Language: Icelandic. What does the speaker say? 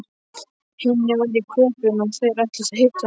Hinni væri í Köben og að þeir ætluðu að hittast.